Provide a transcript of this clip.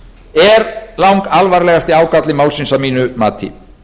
er langalvarlegasti ágalli málsins að mínu mati